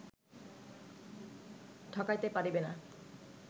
ঠকাইতে পারিবে না